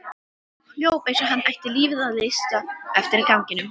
Hljóp eins og hann ætti lífið að leysa eftir ganginum.